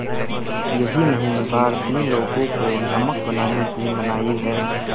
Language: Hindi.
यही नहीं भारतीय लोगों को नमक बनाने की मनाही है